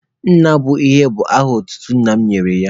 Nna bụ enyi bụ aha otutu nna ya nyere ya.